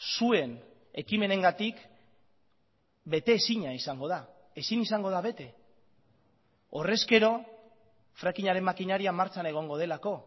zuen ekimenengatik bete ezina izango da ezin izango da bete horrezkero frackingaren makinaria martxan egongo delako